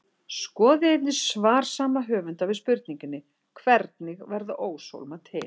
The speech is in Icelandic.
Skoðið einnig svar sama höfundar við spurningunni Hvernig verða óshólmar til?